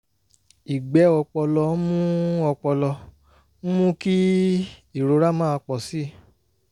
ìgbẹ́ ọpọlọ ń mú ọpọlọ ń mú kí ìrora máa pọ̀ sí i